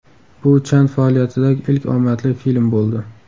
Bu Chan faoliyatidagi ilk omadli film bo‘ldi.